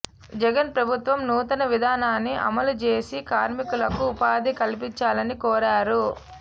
జగన్ ప్రభుత్వం నూతన విధానాన్ని అమలుజేసి కార్మికులకు ఉపా ధి కల్పించాలని కోరా రు